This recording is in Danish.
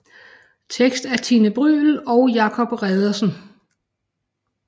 Tekst af Tine Bryld og Jacob Reddersen